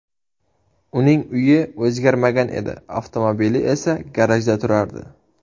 Uning uyi o‘zgarmagan edi, avtomobili esa garajda turardi.